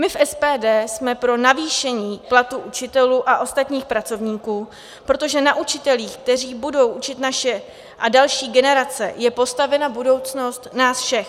My v SPD jsme pro navýšení platů učitelů a ostatních pracovníků, protože na učitelích, kteří budou učit naše a další generace, je postavena budoucnost nás všech.